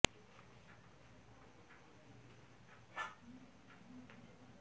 অর্থ মন্ত্রণালয়ের ব্যাংকিং ও আর্থিক প্রতিষ্ঠান বিভাগের সচিব এবং বাংলাদেশ ব্যাংকের পরিচালনা